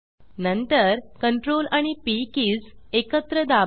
नंतर Ctrl आणि P keys एकत्र दाबा